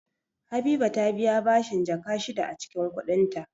Habiba ta biya bashin Jaka shida a cikin kudinta